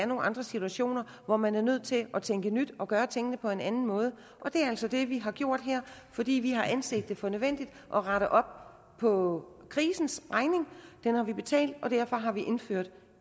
nogle andre situationer hvor man er nødt til at tænke nyt og gøre tingene på en anden måde det er altså det vi har gjort her fordi vi har anset det for nødvendigt at rette op på krisen har vi betalt og derfor har vi indført